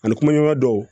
Ani kumaɲɔgɔn dɔw